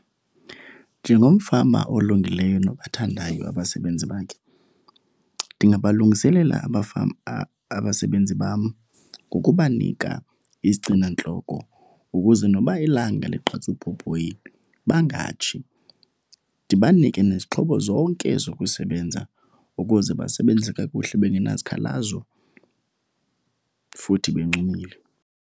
Njengomfama olungileyo nobathandayo abasebenzi bakhe ndingabalungiselela abasebenzi bam ngokubanika izigcinantloko ukuze noba ilanga ligqatsa ubhobhoyi bangatshi. Ndibanike nezixhobo zonke zokusebenza ukuze basebenze kakuhle bengenazikhalazo futhi bencumile.